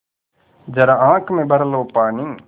ज़रा आँख में भर लो पानी